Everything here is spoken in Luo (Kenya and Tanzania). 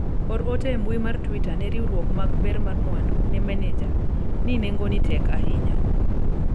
or ote e mbui mar twita ne riwruok mag ber mar mwandu ne maneja ni nengoni tek ahinya